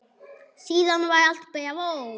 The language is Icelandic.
Síðan var allt bravó.